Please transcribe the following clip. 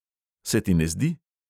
"Se ti ne zdi?"